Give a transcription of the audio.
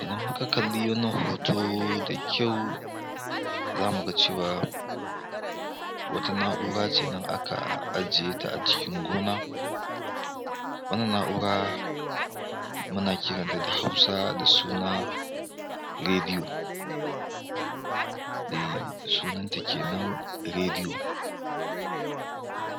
Idan muka kalli wanna hoto da kyau za mu ga cewa wata na'ura ce nan aka ajiye ta a cikin gona wannan na'ura, muna kiranta da hausa da suna, Rediyo. Ehh sunanta kenan rediyo.